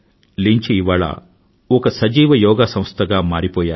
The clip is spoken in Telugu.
లించ్ ఇవాళ ఒక సజీవ యోగా సంస్థగా మారిపోయారు